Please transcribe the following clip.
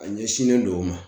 A ɲɛsinnen don o ma .